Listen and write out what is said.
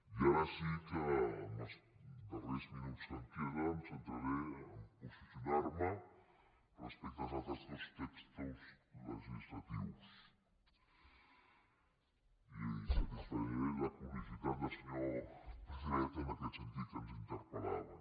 i ara sí que en els darrers minuts que em queden em centraré a posicionar me respecte als altres dos textos legislatius i satisfaré la curiositat del senyor pedret en aquest sentit que ens interpel·lava